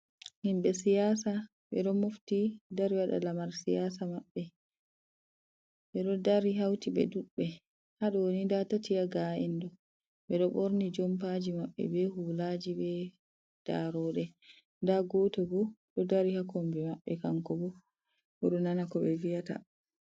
Himɓe siyaasa ɓe ɗo mofti dari waɗa lamar siyaasa maɓɓe, ɓe ɗo dari hawti ɓe ɗuuɗɓe .Haa ɗoni ndaa tati haa ga’en ɗo, ɓe ɗo ɓorni jompaaji maɓɓe be hulaaji be darooɗe. Ndaa gooto bo ɗo dari haa kombi maɓɓe ,kanko bo o ɗo nana ko ɓe vi’ata.